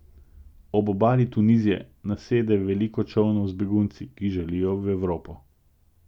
Ob obali Tunizije nasede veliko čolnov z begunci, ki želijo v Evropo.